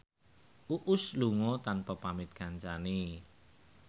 Uus lunga tanpa pamit kancane